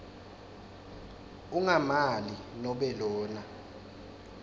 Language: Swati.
ummangali nobe lona